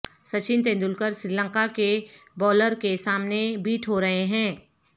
سچن تندولکر سری لنکا کے بولر کے سامنے بیٹ ہو رہے ہیں